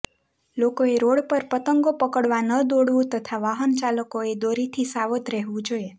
લોકોએ રોડ પર પતંગો પકડવા ન દોડવું તથા વાહનચાલકોએ દોરીથી સાવધ રહેવું જોઈએ